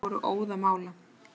Þeir voru óðamála.